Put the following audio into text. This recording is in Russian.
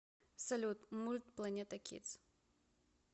салют мульт планета кидс